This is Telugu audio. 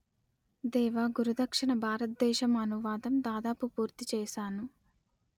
దేవా గురు దక్షిణ భారత దేశం అనువాదం దాదాపు పూర్తి చేశాను